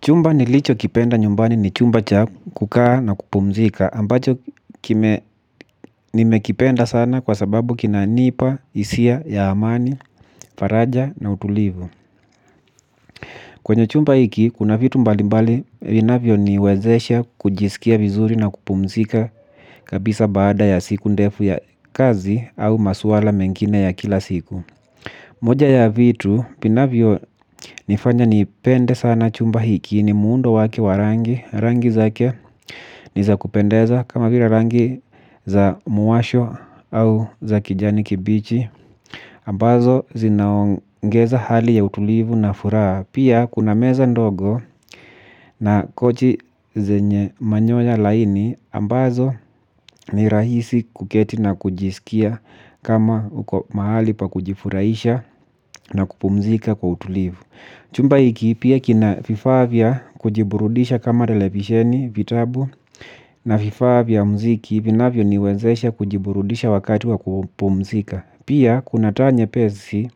Chumba nilicho kipenda nyumbani ni chumba cha kukaa na kupumzika ambacho nime kipenda sana kwa sababu kina nipa, hisia, ya amani, faraja na utulivu. Kwenye chumba hiki kuna vitu mbali mbali vinavyo niwezesha kujisikia vizuri na kupumzika kabisa baada ya siku ndefu ya kazi au maswala mengine ya kila siku. Moja ya vitu, vinavyo nifanya ni pende sana chumba hiki ni muundo waki wa rangi, rangi zake ni za kupendeza kama vile rangi za muwasho au za kijani kibichi. Ambazo zinaongeza hali ya utulivu na furaha. Pia kuna meza ndogo na kochi zenye manyoya laini ambazo ni rahisi kuketi na kujisikia kama uko mahali pa kujifurahisha na kupumzika kwa utulivu. Chumba hiki pia kina vifaa via kujiburudisha kama televisheni vitabu na vifaa via mziki vinavyo niwezesha kujiburudisha wakati wa kupumzika. Pia kuna taa nyepesi